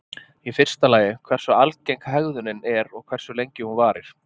Í fyrsta lagi hversu algeng hegðunin er og hversu lengi hún varir.